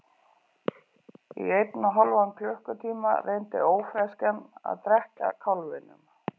Í einn og hálfan klukkutíma reyndi ófreskjan að drekkja kálfinum.